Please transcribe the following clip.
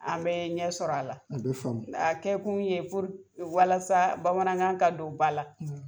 An be ɲɛ sɔr'ala a be faamu kɛ kun ye puruke walasa bamanankan ka don ba la